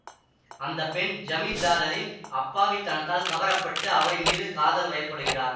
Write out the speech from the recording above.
அந்த பெண் ஜமீன்தாரின் அப்பாவித்தனத்தால் கவரப்பட்டு அவரின் மீது காதல் வயப்படுகிறார்